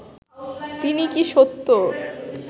তিনি কি সত্য